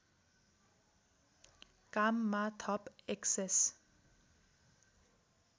काममा थप एक्सेस